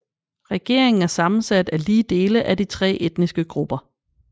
Regeringen er sammensat af lige dele af de tre etniske grupper